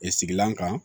E sigilan kan